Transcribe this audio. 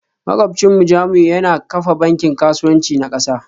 Makwabcinmu Jamiu yana kafa bankin kasuwanci na kansa